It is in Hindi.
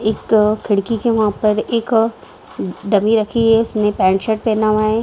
एक खिड़की के वहाँ पे एक डमी रखी हुई है उसने पेंट शर्ट पहना हुआ है।